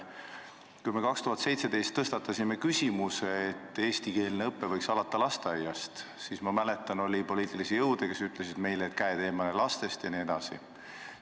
Kui me 2017. aastal tõstatasime küsimuse, et eestikeelne õpe võiks alata lasteaiast, siis oli minu mäletamist mööda poliitilisi jõude, kes ütlesid meile, et käed eemale lastest jne.